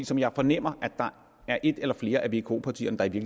som jeg fornemmer at der er et eller flere af vko partierne der i